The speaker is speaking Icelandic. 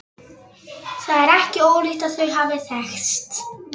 Það er ekki ólíklegt að þau hafi þekkst.